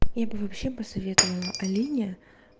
я бы вообще посоветовала алине